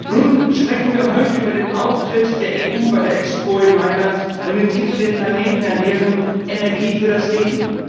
Nun sprechen wir heute über den Auftritt der EU bei der Expo in Mailand und den Titel Den Planeten ernähren, Energie für das Leben.